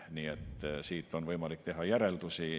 Nii et siit on võimalik teha järeldusi.